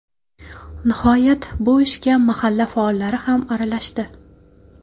Nihoyat bu ishga mahalla faollari ham aralashdi.